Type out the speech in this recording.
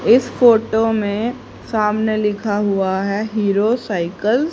इस फोटो में सामने लिखा हुआ है हीरो साइकिल --